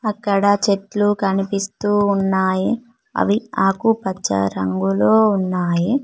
అక్కడ చెట్లు కనిపిస్తూ ఉన్నాయి అవి ఆకుపచ్చ రంగులో ఉన్నాయి.